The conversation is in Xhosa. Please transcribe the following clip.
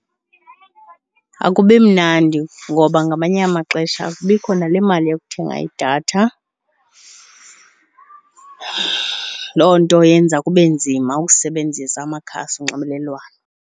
Akubi mnandi ngoba ngamanye amaxesha akubikho nale mali yokuthenga idatha. Loo nto yenza kube nzima ukusebenzisa amakhasi onxibelelwano.